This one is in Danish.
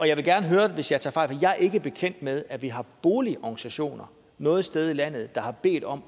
jeg vil gerne høre det hvis jeg tager fejl for jeg er ikke bekendt med at vi har boligorganisationer noget sted i landet der har bedt om